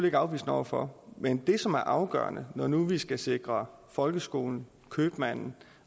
ikke afvisende over for men det som er afgørende når nu vi skal sikre folkeskolen købmanden